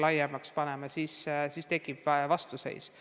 Laiemate kohustuste puhul tekib vastuseis.